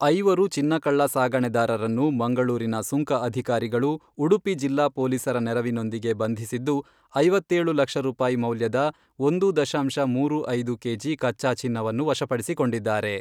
ಐವರು ಚಿನ್ನ ಕಳ್ಳ ಸಾಗಣೆದಾರರನ್ನು ಮಂಗಳೂರಿನ ಸುಂಕ ಅಧಿಕಾರಿಗಳು ಉಡುಪಿ ಜಿಲ್ಲಾ ಪೊಲೀಸರ ನೆರವಿನೊಂದಿಗೆ ಬಂಧಿಸಿದ್ದು, ಐವತ್ತೇಳು ಲಕ್ಷ ರೂಪಾಯಿ ಮೌಲ್ಯದ ಒಂದೂ ದಶಾಂಶ ಮೂರು ಐದು ಕೆಜಿ ಕಚ್ಚಾ ಚಿನ್ನವನ್ನು ವಶಪಡಿಸಿಕೊಂಡಿದ್ದಾರೆ.